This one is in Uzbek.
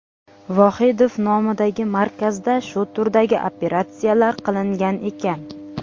Vohidov nomidagi markazda shu turdagi operatsiyalar qilingan ekan.